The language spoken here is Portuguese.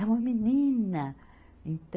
É uma menina. Então